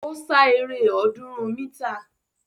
Ó sá eré ọ̀ọ́dúnrún mítà